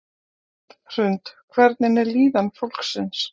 Hrund: Hvernig er líðan fólksins?